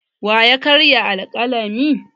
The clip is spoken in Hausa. Wa ya karya alƙalamin?